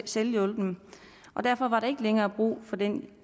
selvhjulpen og derfor var der ikke længere brug for den